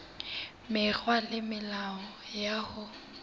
mekgwa le melao ya ho